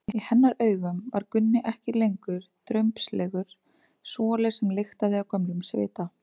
Í hennar augum var Gunni ekki lengur drumbslegur svoli sem lyktaði af gömlum svita.